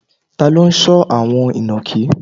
Ta ni ó ń sọ́ àwọn inakí?